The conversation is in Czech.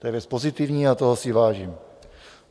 To je věc pozitivní a toho si vážím.